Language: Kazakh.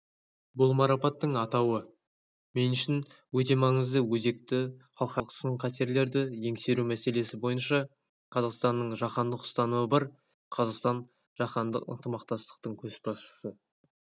бұл марапаттың атауы мен үшін өте маңызды өзекті халықаралық сын-қатерлерді еңсеру мәселесі бойынша қазақстанның жаһандық ұстанымы бар қазақстан жаһандық ынтымақтастықтың көшбасшысы